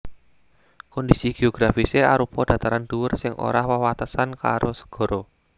Kondhisi geografisé arupa dataran dhuwur sing ora wewatesan karo segara